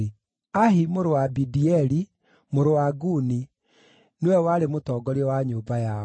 Ahi mũrũ wa Abidieli, mũrũ wa Guni nĩwe warĩ mũtongoria wa nyũmba yao.